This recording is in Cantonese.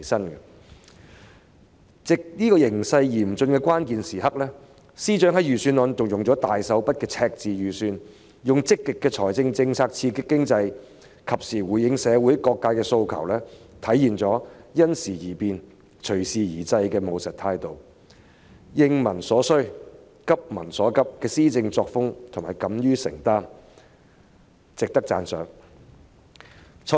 面對這個形勢嚴峻的關鍵時刻，司長在預算案中運用了大手筆的赤字預算，以積極的財政政策刺激經濟，及時回應社會各界的訴求，體現了因時而變、隨時而制的務實態度，應民所需、急民所急的施政作風，同時敢於承擔，是值得讚賞的。